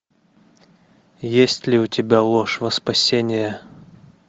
есть ли у тебя ложь во спасение